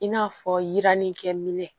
I n'a fɔ yiranni kɛminɛ